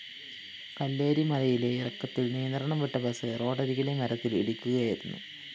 കല്ലേരിമലയിലെ ഇറക്കത്തില്‍ നിയന്ത്രണം വിട്ട ബസ്സ് റോഡരികിലെ മരത്തില്‍ ഇടിക്കുകയായിരുന്നു